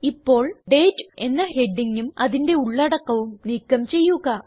ഇപ്പോൾ ഡേറ്റ് എന്ന ഹെഡിഗും അതിന്റെ ഉള്ളടക്കവും നീക്കം ചെയ്യുക